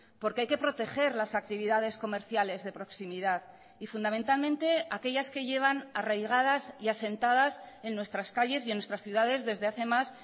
porque hay que proteger las actividades comerciales de proximidad y fundamentalmente aquellas que llevan arraigadas y asentadas en nuestras calles y en nuestras ciudades desde hace más